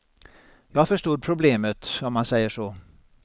Jag förstod problemet, om man säger så.